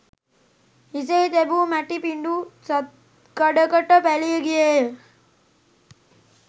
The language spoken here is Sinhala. හිසෙහි තැබූ මැටි පිඩු සත්කඩකට පැලී ගියේය.